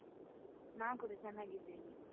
ನಾ ಕೂಡ ಚನ್ನಾಗಿದ್ದೇನೆ.